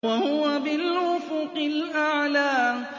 وَهُوَ بِالْأُفُقِ الْأَعْلَىٰ